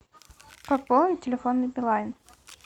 пополнить телефон на билайн